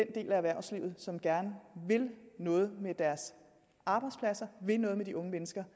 af erhvervslivet som gerne vil noget med deres arbejdspladser vil noget med de unge mennesker